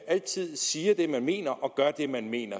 altid siger det man mener og gør det man mener